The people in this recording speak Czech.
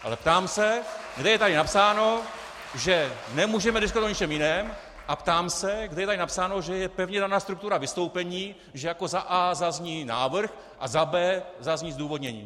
Ale ptám se, kde je tady napsáno, že nemůžeme diskutovat o ničem jiném, a ptám se, kde je tady napsáno, že je pevně daná struktura vystoupení, že jako za a) zazní návrh a za b) zazní zdůvodnění.